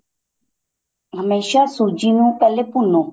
ਹਮੇਸ਼ਾ ਸੂਜੀ ਨੂੰ ਪਹਿਲੇ ਭੁੰਨੋ